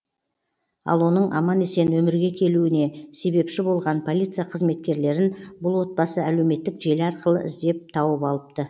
ал оның аман есен өмірге келуіне себепші болған полиция қызметкерлерін бұл отбасы әлеуметтік желі арқылы іздеп тауып алыпты